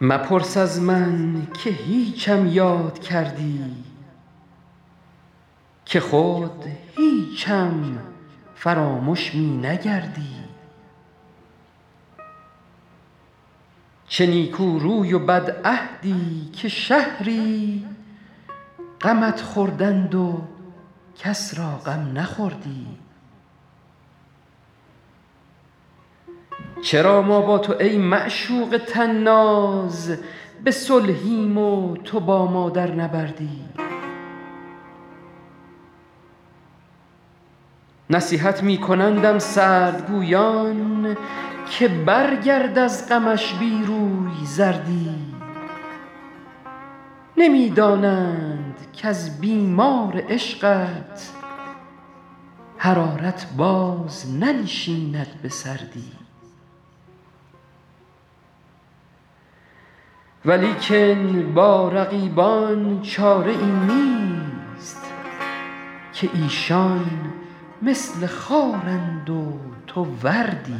مپرس از من که هیچم یاد کردی که خود هیچم فرامش می نگردی چه نیکو روی و بدعهدی که شهری غمت خوردند و کس را غم نخوردی چرا ما با تو ای معشوق طناز به صلحیم و تو با ما در نبردی نصیحت می کنندم سردگویان که برگرد از غمش بی روی زردی نمی دانند کز بیمار عشقت حرارت باز ننشیند به سردی ولیکن با رقیبان چاره ای نیست که ایشان مثل خارند و تو وردی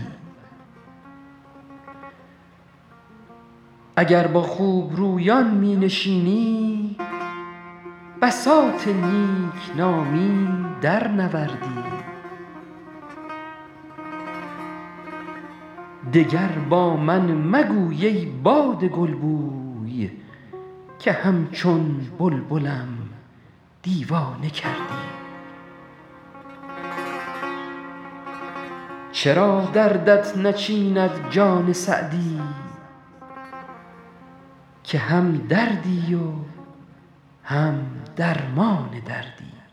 اگر با خوبرویان می نشینی بساط نیک نامی درنوردی دگر با من مگوی ای باد گلبوی که همچون بلبلم دیوانه کردی چرا دردت نچیند جان سعدی که هم دردی و هم درمان دردی